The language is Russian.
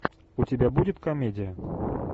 у тебя будет комедия